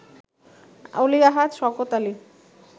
Oli Ahad, Shawkat Ali